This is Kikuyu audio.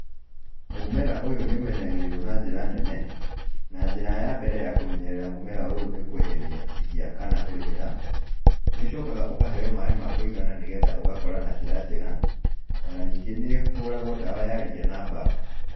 Mũmera ũyũ nĩ ũmenyagĩrĩrwo na njĩra nene, na njĩra ya mbere ya kũmenyerera mũmera ũyũ nĩ kweheria ria kana kũrĩmĩra, nĩ ũcokaga ũkaheo maaĩ ma kũigana nĩgetha ũgakũra na njĩra njega, ona ningĩ nĩ ũhũragwo ndawa ya ria na mbaa.